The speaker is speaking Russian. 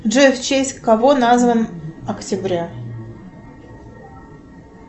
джой в честь кого назван октября